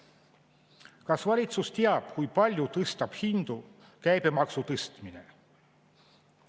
Kas valitsus teab, kui palju tõstab hindu käibemaksu tõstmine?